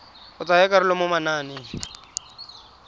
go tsaya karolo mo mananeng